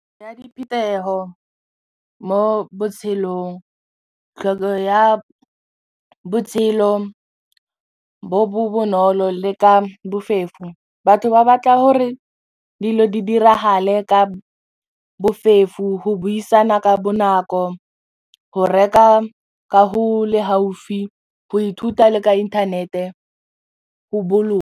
Ya diphuthego mo botshelong, tlhokego ya botshelo bo bo bonolo le ka bofefo batho ba batla gore dilo di dirahale ka bofefo ho buisana ka bonako ho reka ka go le gaufi go ithuta le ka inthanete .